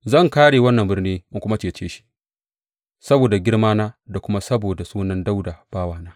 Zan kāre wannan birni in kuma cece shi, saboda girmana da kuma saboda sunan Dawuda bawana!